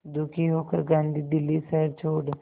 दुखी होकर गांधी दिल्ली शहर छोड़